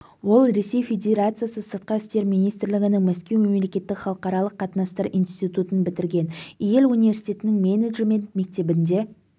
ол ресей федерациясы сыртқы істер министрлігінің мәскеу мемлекеттік халықаралық қатынастар институтын бітірген йель университетінің менеджмент мектебінде